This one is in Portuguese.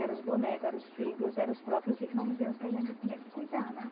Era os bonecos, era os filhos, era os próprios irmãozinhos que a gente tinha que cuidar, né?